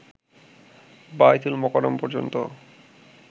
বায়তুল মোকারম পর্যন্ত